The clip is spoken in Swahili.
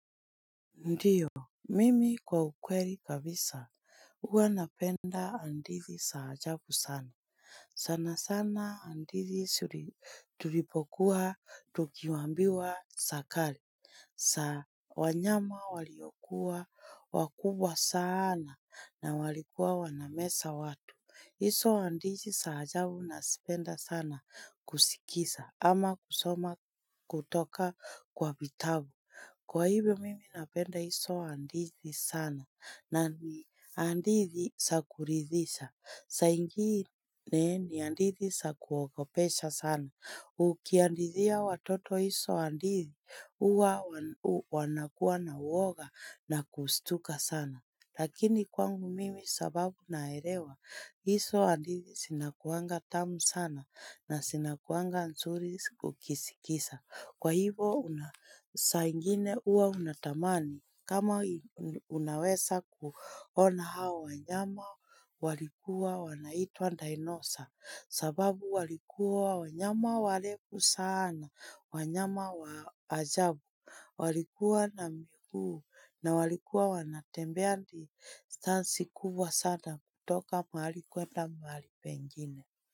Ndiyo, mimi kwa ukweli kabisa, huwa napenda andithi sa ajabu sana. Sana sana andithi tulipokua tukiwambiwa sa kale. Sa wanyama waliokuwa wakubwa sana na walikuwa wanamesa watu. Hiso andithi sa ajabu nasipenda sana kusikisa ama kusoma kutoka kwa vitabu. Kwa hivyo mimi napenda iso andithi sana na ni andithi sa kuridhisha. Sa ingine ni andithi sa kuogopesha sana. Ukiandithia watoto iso andithi, uwa wanakuwa na uoga na kustuka sana. Lakini kwangu mimi sababu naelewa, iso andithi sinakuanga tamu sana na sinakuanga nsuri ukisikisa. Kwa hivo una sa ingine uwa unatamani kama unawesa kuona hawa nyama walikuwa wanaitwa dinosaur sababu walikuwa wanyama walefu sana wanyama wa ajabu. Walikuwa na mikuu na walikuwa wanatembe distansi kubwa sana kutoka mahali kwenda mahali pengine.